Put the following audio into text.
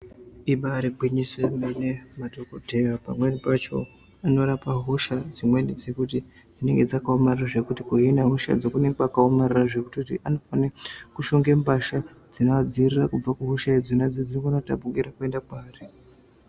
Ibari gwinyiso yemene madhokodheya pamweni pacho anorapa hosha dzimweni dzekuti dzinenge dzakaomrara zvekuti kuhina hoshadzo kunenge kwakaomarara zvekutoti unofane mushonge mbasha dzinovadzivirira kubva kuhosha idzodzo dzinokona kutapukira kuenda paari.